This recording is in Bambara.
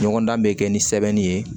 Ɲɔgɔndan bɛ kɛ ni sɛbɛnni ye